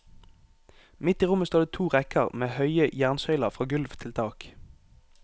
Midt i rommet står det to rekker med høye jernsøyler fra gulv til tak.